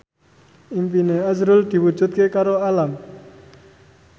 impine azrul diwujudke karo Alam